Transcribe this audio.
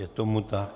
Je tomu tak.